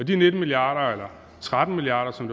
de nitten milliarder eller tretten milliarder som